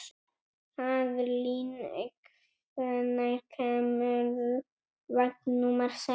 Kaðlín, hvenær kemur vagn númer sex?